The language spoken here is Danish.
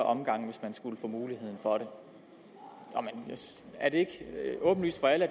omgange hvis man skulle få muligheden for det er det ikke åbenlyst for alle at